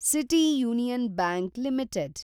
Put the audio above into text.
city Union Bank limited